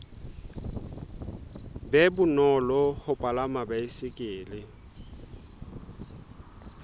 be bonolo ho palama baesekele